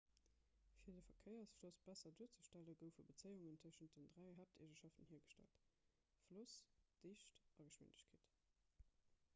fir den verkéiersfloss besser duerzestellen goufe bezéiungen tëschent den dräi haapteegenschaften hiergestallt: 1 floss 2 dicht a 3 geschwindegkeet